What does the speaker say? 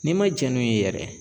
N'i ma jɛn n'u ye yɛrɛ